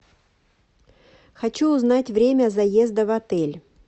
хочу узнать время заезда в отель